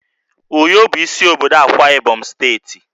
Uyo bụ isi obodo Akwa Ibom steeti